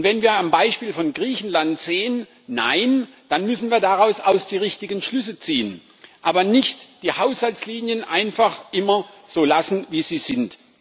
Und wenn wir am Beispiel von Griechenland sehen, dass das nicht der Fall ist, dann müssen wir daraus auch die richtigen Schlüsse ziehen, aber nicht die Haushaltslinien einfach immer so lassen, wie sie sind.